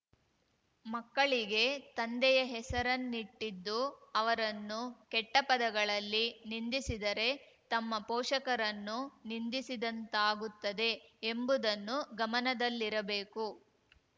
ಮಕ್ಕಳಿಗೆ ತಂದೆಯ ಹೆಸರನ್ನಿಟ್ಟಿದ್ದು ಅವರನ್ನು ಕೆಟ್ಟಪದಗಳಲ್ಲಿ ನಿಂದಿಸಿದರೆ ತಮ್ಮ ಪೋಷಕರನ್ನು ನಿಂದಿಸಿದಂತಾಗುತ್ತದೆ ಎಂಬುದನ್ನು ಗಮನದಲ್ಲಿರಬೇಕು